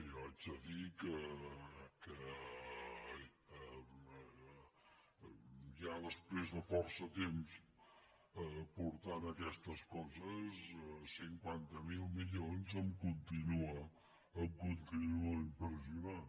jo haig de dir que ja després de força temps portant aquestes coses cinquanta miler milions em continuen impressionant